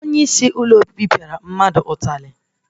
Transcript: Onye isi Hostelu pịara mmadụ ụtarị